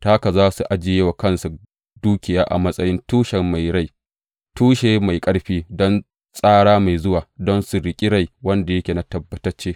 Ta haka za su ajiye wa kansu dukiya a matsayin tushen mai ƙarfi don tsara mai zuwa, don su riƙi rai wanda yake na tabbatacce.